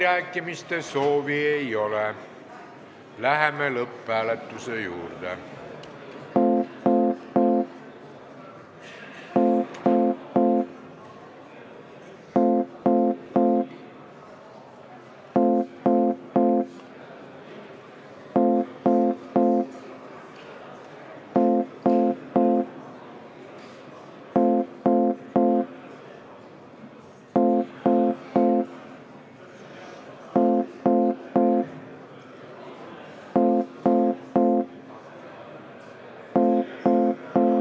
Kõnesoove ei ole, läheme lõpphääletuse juurde.